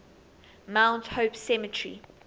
mount hope cemetery